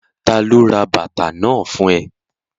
Ta ló ra bàtà náà fún ẹ?